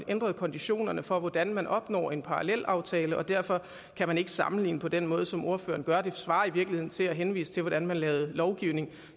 ændret konditionerne for hvordan man opnår en parallelaftale derfor kan man ikke sammenligne på den måde som ordføreren gør det det svarer i virkeligheden til at henvise til hvordan man lavede lovgivning